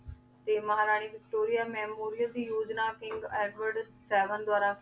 ਤੇ ਮਹਾਰਾਨੀ Victoria memorial ਦੀ ਯੋਝਨਾ ਕਿੰਗ ਏਡਵਰ੍ਡ ਸੇਵੇਨ ਦਵਾਰਾ ਕੀਤੀ ਗਈ ਸੀ